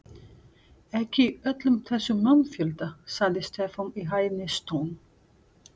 Ekki í öllum þessum mannfjölda, sagði Stefán í hæðnistón.